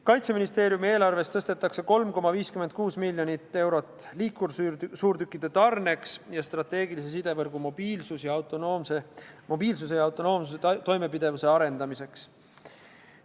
Kaitseministeeriumi eelarvest tõstetakse 3,56 miljonit eurot liikursuurtükkide tarneks ja strateegilise sidevõrgu mobiilsuse ja autonoomse toimepidevuse arendamiseks.